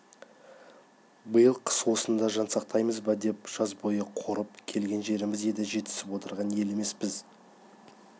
биыл қыс осында жан сақтаймыз ба деп жаз бойы қорып келген жеріміз еді жетісіп отырған ел емеспіз